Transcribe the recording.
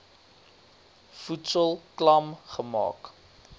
voedsel klam gemaak